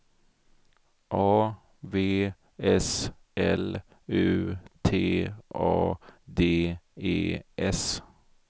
A V S L U T A D E S